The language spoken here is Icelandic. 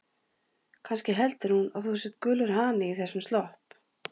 Kannski heldur hún að þú sért gulur hani í þessum slopp.